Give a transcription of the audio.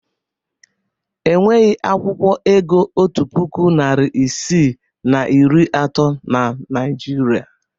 Enweghị akwụkwọ ego otu puku, narị isii na iri atọ na Naịjirịa.